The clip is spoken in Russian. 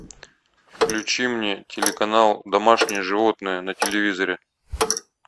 включи мне телеканал домашние животные на телевизоре